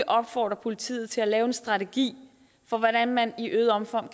opfordre politiet til at lave en strategi for hvordan man i øget omfang